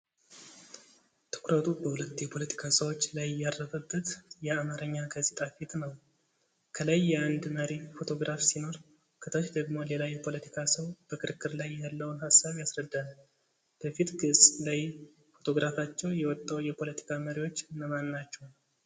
ትኩረቱ በሁለት የፖለቲካ ሰዎች ላይ ያረፈበት የአማርኛ ጋዜጣ ፊት ነው። ከላይ የአንድ መሪ ፎቶግራፍ ሲኖር፣ ከታች ደግሞ ሌላ የፖለቲካ ሰው በክርክር ላይ ያለውን ሀሳብ ያስረዳል። በፊት ገፅ ላይ ፎቶግራፋቸው የወጣው የፖለቲካ መሪዎች እነማን ናቸው?